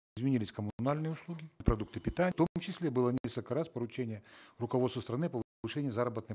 изменились услуги продукты питания в том числе было несколько раз поручение руководства страны заработной